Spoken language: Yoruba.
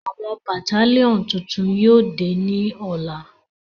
àwọn Batalionu tuntun yóò de ni ọla